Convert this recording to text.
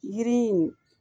Yiri in